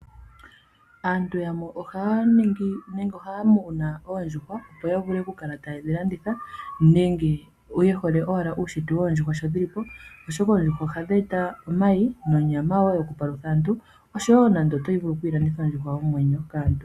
Aantu yamwe ohaya muna oondjuhwa opo ya vule oku kala taye dhi landitha nenge ye hole ashike uushitwe woondjuhwa sho dhili po. Oondjuhwa ohadhi eta omayi nonyama osho wo aantu otaya vulu okulanditha oondhuhwa dhomwenyo.